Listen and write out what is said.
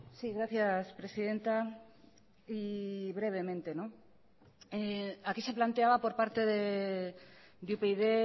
sí gracias presidenta y brevemente aquí se planteaba por parte de upyd